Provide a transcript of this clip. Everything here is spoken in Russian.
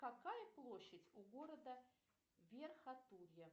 какая площадь у города верхотурье